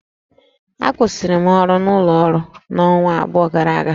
Akwụsịrị m ọrụ n'ụlọ ọrụ m ọnwa abụọ gara aga